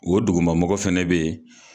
O dugumamɔgɔ fɛnɛ bɛ yen.